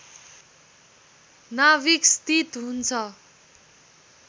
नाभिक स्थित हुन्छ